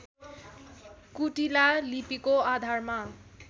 कुटिला लिपिको आधारमा